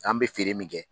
An bɛ feere min kɛ